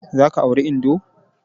Za ka auri indo!